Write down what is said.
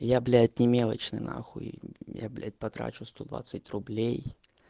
я блять не мелочный нахуй я блять потрачу сто двадцать рублей